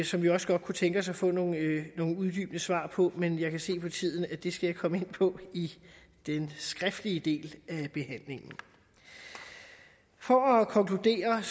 som vi også godt kunne tænke os at få nogle uddybende svar på men jeg kan se på tiden at det skal jeg komme ind på i den skriftlige del af behandlingen for at konkludere